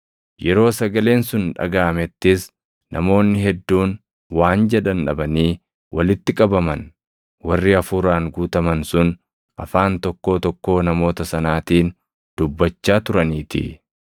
Yeroo sagaleen sun dhagaʼamettis namoonni hedduun waan jedhan dhabanii walitti qabaman; warri Hafuuraan guutaman sun afaan tokkoo tokkoo namoota sanaatiin dubbachaa turaniitii.